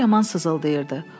Qolları yaman sızıldayırdı.